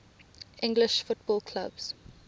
english football clubs